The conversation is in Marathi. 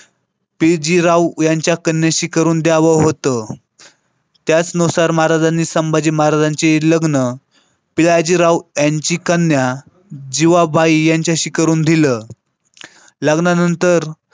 तेजी राव यांच्या कन्येशी करून द्यावं होतं. त्याचनुसार महाराजांनी संभाजी महाराजांचे लग्न पिळाजी राव यांची कन्या जीवाबाई यांच्याशी करून दिलं लग्नानंतर.